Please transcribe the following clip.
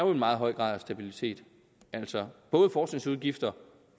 meget høj grad af stabilitet altså både forskningsudgifter